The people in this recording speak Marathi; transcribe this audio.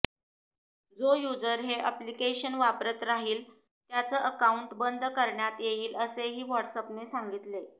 जो युझर हे अॅप्लिकेशन वापरत राहिल त्याचं अकाउंट बंद करण्यात येईल असेही व्हॉट्सअॅपने सांगितले